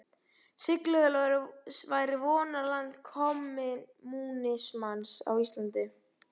Siglufjörður væri vonarland kommúnismans á Íslandi.